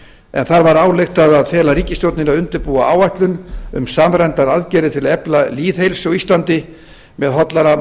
en þar var ályktað að fela ríkisstjórninni að undirbúa áætlun um samræmdar aðgerðir til að efla lýðheilsu á íslandi með hollara